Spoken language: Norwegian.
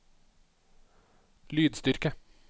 lydstyrke